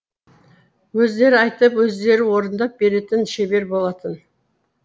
өздері айтып өздері орындап беретін шебер болатын